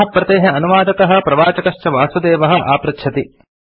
अस्याः प्रतेः अनुवादकः प्रवाचकः च वासुदेवः आपृच्छति